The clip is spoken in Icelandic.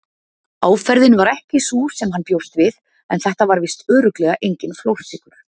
Áferðin var ekki sú sem hann bjóst við en þetta var víst örugglega enginn flórsykur.